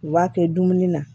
U b'a kɛ dumuni na